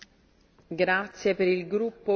Frau Präsidentin, Herr Kommissar!